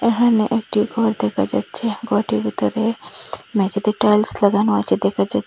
এখানে একটি ঘর দেখা যাচ্ছে ঘরটির ভিতরে মেঝেতে টাইলস লাগানো আছে দেখা যা--